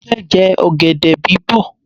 Mo fẹ́ jẹ ọ̀gẹ̀dẹ̀ bí bọ̀.